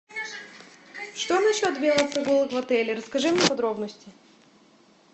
что насчет велопрогулок в отеле расскажи мне подробности